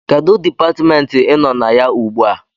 Kedụ Dipatmentị ị nọ na ya ugbu a?